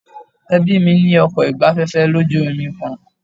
Ẹbí mí ní ọkọ̀ ìgbafẹ́fẹ́ lójú omi kan.